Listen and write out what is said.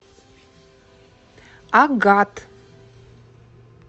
агат